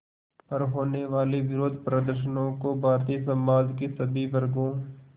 पर होने वाले विरोधप्रदर्शनों को भारतीय समाज के सभी वर्गों